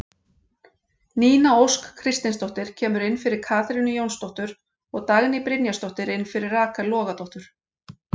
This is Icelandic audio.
Nína Ósk Kristinsdóttir kemur inn fyrir Katrínu Jónsdóttur og Dagný Brynjarsdóttir inn fyrir Rakel Logadóttur.